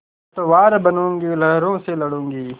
पतवार बनूँगी लहरों से लडूँगी